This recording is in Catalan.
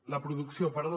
la producció perdó